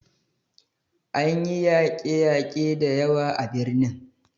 An yi yake yake da yawa a birnin